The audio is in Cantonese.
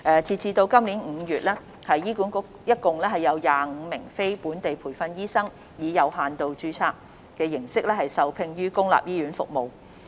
截至今年5月，醫管局共有25名非本地培訓醫生以有限度註冊形式受聘於公立醫院服務。